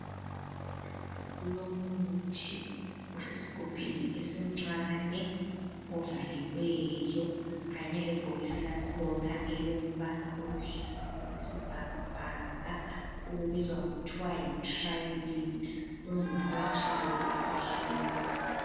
Kulomuthi osesigubhini esincane ovaliweyo kanye lebhokisi lakhona elombala oluhlaza okwesibhakabhaka ubizwa kuthiwa yi "Tryline". Ungumuthi wokukhwehlela.